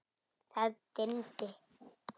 Það dimmdi.